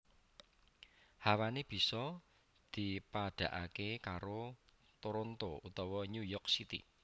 Hawané bisa dipadhakaké karo Toronto utawa New York City